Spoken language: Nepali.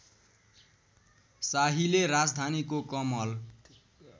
शाहीले राजधानीको कमल